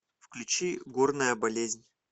включи горная болезнь